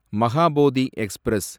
Mahabodhi express